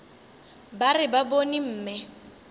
ba re ba bone mme